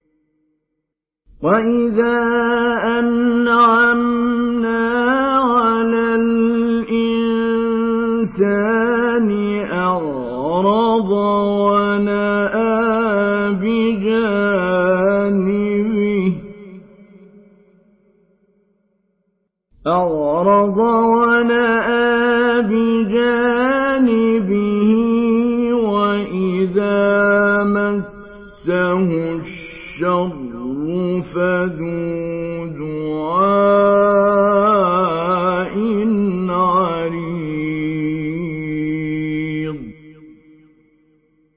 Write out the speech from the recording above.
وَإِذَا أَنْعَمْنَا عَلَى الْإِنسَانِ أَعْرَضَ وَنَأَىٰ بِجَانِبِهِ وَإِذَا مَسَّهُ الشَّرُّ فَذُو دُعَاءٍ عَرِيضٍ